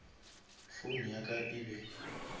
phone ya ka e be